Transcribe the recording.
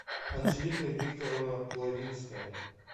анжелика викторовна плавинская